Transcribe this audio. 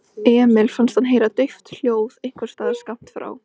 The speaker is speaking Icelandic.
Emil fannst hann heyra dauft hljóð einhversstaðar skammt frá.